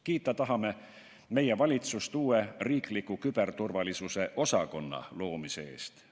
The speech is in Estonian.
Kiita tahame meie valitsust uue riikliku küberturvalisuse osakonna loomise eest.